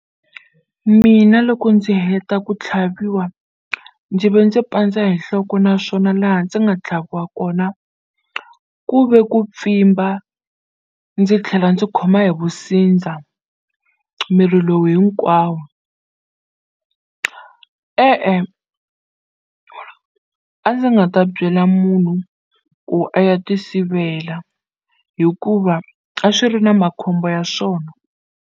Mina loko ndzi heta ku tlhaviwa ndzi ve ndzi pandza hi nhloko naswona laha ndzi nga tlhaviwa kona ku ve ku pfimba ndzi tlhela ndzi khoma hi vusindza miri lowu hinkwawo, e-e a ndzi nga ta byela munhu ku a ya ti sivela hikuva a swi ri na makhombo ya swona.